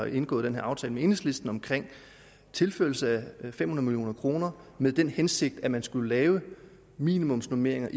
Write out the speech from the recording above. indgået den her aftale med enhedslisten om tilførelse af fem hundrede million kroner med den hensigt at man skulle lave minimumsnormeringer